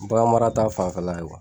Bagan mara ta fanfɛla ye o.